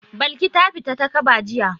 Balki ta fita takaba jiya.